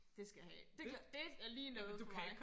Det skal jeg have det det er lige noget for mig